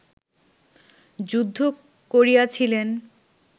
যুদ্ধ করিয়াছিলেন